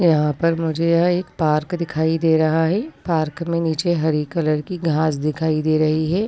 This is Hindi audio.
यहाँ पर मुझे यह एक पार्क दिखाई दे रहा है पार्क में नीचे हरी कलर की घास दिखाई दे रही है।